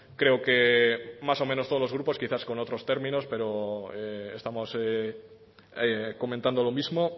creo que más o menos todos los grupos quizás con otros términos estamos comentando lo mismo